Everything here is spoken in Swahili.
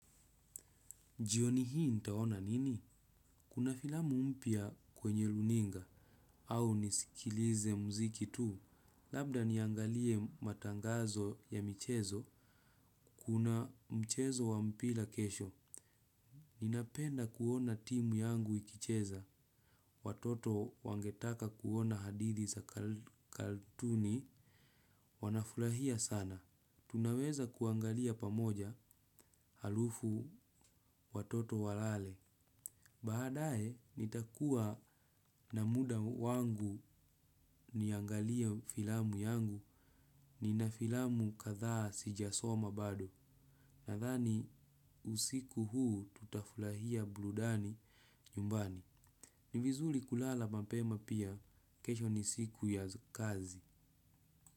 Jioni hii nitaona nini? Kuna filamu mpya kwenye runinga, au nisikilize mziki tu. Labda niangalie matangazo ya mchezo, kuna mchezo wa mpira kesho. Ninapenda kuona timu yangu ikicheza. Watoto wangetaka kuona hadithi za katuni, wanafurahia sana. Tunaweza kuangalia pamoja halafu watoto walale. Baadaye, nitakuwa na muda wangu. Niangalie hio filamu yangu, nina filamu kadhaa sijasoma bado. Nadhani usiku huu tutafurahia burudani nyumbani. Ni vizuri kulala mapema pia, kesho ni siku ya kazi.